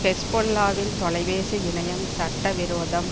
ஹெஸ்பொல்லாவின் தொலைபேசி இணையம் சட்ட விரோதம்